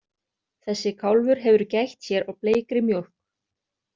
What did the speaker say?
Þessi kálfur hefur gætt sér á bleikri mjólk!